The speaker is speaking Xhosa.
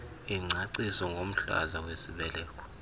ingcaciso ngomhlaza wesibeleko